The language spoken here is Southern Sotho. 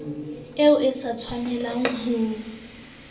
eo o sa tshwanelang ho